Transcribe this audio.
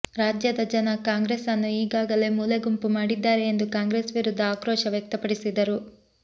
ರಾಜ್ಯದ ಜನ ಕಾಂಗ್ರೆಸ್ ಅನ್ನು ಈಗಾಗಲೇ ಮೂಲೆಗುಂಪು ಮಾಡಿದ್ದಾರೆ ಎಂದು ಕಾಂಗ್ರೇಸ್ ವಿರುದ್ದ ಆಕ್ರೋಶ ವ್ಯಕ್ತಪಡಿಸಿದರು